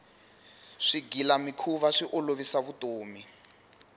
swigilamikhuva swi olovisa vutomi